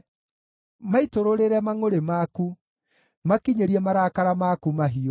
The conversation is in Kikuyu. Maitũrũrĩre mangʼũrĩ maku; makinyĩrie marakara maku mahiũ.